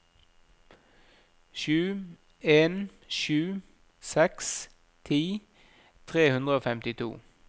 sju en sju seks ti tre hundre og femtito